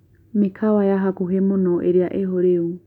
mĩkawa ya hakuhĩ mũno ĩrĩa ĩho rĩũ